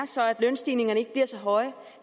så er at lønstigningerne ikke bliver så høje